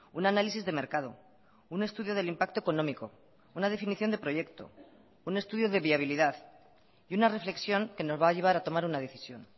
un análisis de mercado un estudio del impacto económico una definición de proyecto un estudio de viabilidad y una reflexión que nos va a llevar a tomar una decisión